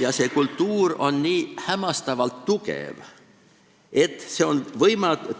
Ja see kultuur on nii hämmastavalt tugev, et see on